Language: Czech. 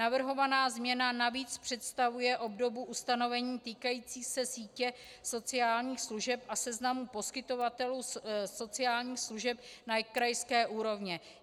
Navrhovaná změna navíc představuje obdobu ustanovení týkající se sítě sociálních služeb a seznamu poskytovatelů sociálních služeb na krajské úrovni.